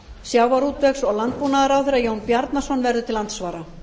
sjávarútvegs og landbúnaðarráðherra jón bjarnason verður til andsvara